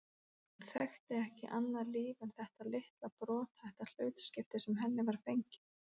Hún þekkti ekki annað líf en þetta litla brothætta hlutskipti sem henni var fengið.